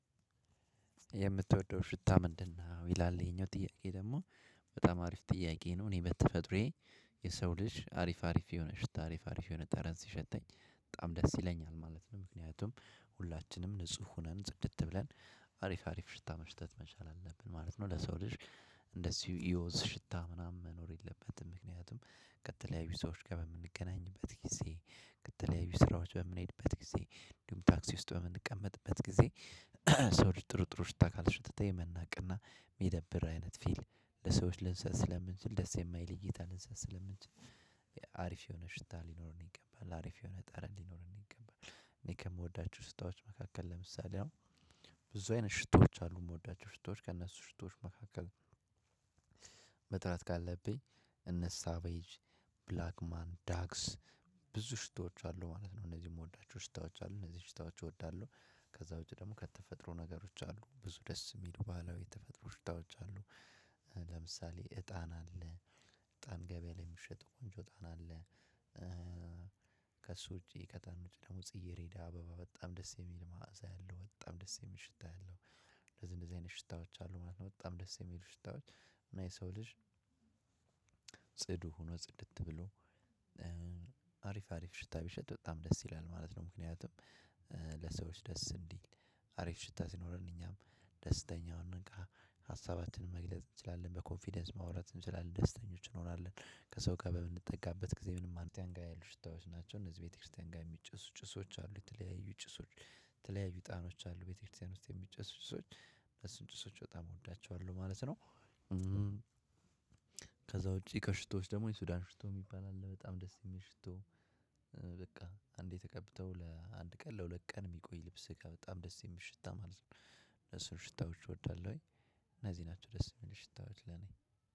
የምትወደው ሽታ ምንድነው? ይላል ይሄኛው ጥያቄ ደግሞ በጣም አሪፍ ጥያቄ ነው። እኔ በተፈጥሮዬ የሰው ልጅ አሪፍ አሪፍ የሆነ ሽታ አሪፍ አሪፍ የሆነ ጠረዝ ሲሸተኝ በጣም ደስ ይለኛል ማለት ነው። ምክንያቱም ሁላችንም ንጹህ ሆነን ጽድት ብለን አሪፍ አሪፍ ሽታ መሽተት መቻል አለብን ማለት ነው። ለሰው ልጅ እንደዚሁ የወዝ ሽታ ምናምን መኖር የለበትም። ምክንያቱም ከተለያዩ ሰዎች ጋር በምንገናኝበት ጊዜ ከተለያዩ ስራዎች በምንሄድበት ጊዜ እንዲሁም ታክሲ ውስጥ በምንቀመጥበት ጊዜ። ሰዎች ጥሩ ጥሩ ሽታ ካልሸተተህ የመናቅና የሚደብር አይነት ፊል ለሰዎች ልንሰጥ ስለምንችል ደስ የማይለኝ እይታ ልንሰጥ ስለምንችል። አሪፍ የሆነ ሽታ ሊኖረን ይገባል አሪፍ የሆነ ጠረን ሊኖርን ይገባል። እኔ ከምወዳቸው ሽታዎች መካከል ለምሳሌ አሁን ብዙ አይነት ሽቶዎች አሉ የምወዳቸው ሽቶዎች ከእነሱ ሽቶዎች መካከል። መጥራት ካለብኝ እነሳ ቬጅ ብላክ ማን ዳክስ ብዙ ሽቶዎች አሉ ማለት ነው። እነዚህ የምወዳቸው ሽታዎች አሉ እነዚህ ሽታዎች እወዳለሁ። ከዛ ውጪ ደግሞ ከተፈጥሮ ነገሮች አሉ ብዙ ደስ የሚሉ ባህላዊ የተፈጥሮ ሽታዎች አሉ። ለምሳሌ እጣን አለ። እጣን ገበያ ላይ የሚሸጠው ቆንጆ እጣን አለ። ከእሱ ውጪ ከእጣን ውጪ ደግሞ ጽይሬዳ አበባ በጣም ደስ የሚል ማዕዛ ያለው በጣም ደስ የሚል ሽታ ያለው። ለዚህ እንደዚህ አይነት ሽታዎች አሉ ማለት ነው። በጣም ደስ የሚሉ ሽታዎች እና የሰው ልጅ ጽዱ ሆኖ ጽድት ብሎ አሪፍ አሪፍ ሽታ ቢሸጥ በጣም ደስ ይላል ማለት ነው። ምክንያቱም ለሰዎች ደስ እንዲል አሪፍ ሽታ ሲኖረን እኛም ደስተኛውን እንቃ ሀሳባትን መግለጽ እንችላለን በኮንፊደንስ ማውራት እንችላለን ደስተኞች እንሆናለን። ከሰው ጋር በምንጠጋበት ጊዜ ምንም እነዚህ ያሉ ሽታዎች ናቸው። እነዚህ ቤተክርስቲያን ጋር የሚጨሱ ጭሶች አሉ የተለያዩ ጭሶች ተለያዩ እጣኖች አሉ ቤተክርስቲያን ውስጥ የሚጨስ ጭሶች እነሱን ጭሶች በጣም እወዳቸዋለሁ ማለት ነው። ከዛ ውጪ ከሽቶዎች ደግሞ የሱዳን ሽቶ የሚባል አለ በጣም ደስ የሚል ሽቶ። አንዴ ተቀብተሀው ለአንድ ቀን ለሁለት ቀን የሚቆይ ልብስ ጋር በጣም ደስ የምሽታ ማለት ነው። እነሱን ሽታዎች እወዳለሁኝ። እነዚህ ናቸው ደስ የሚል ሽታዎች ለኔ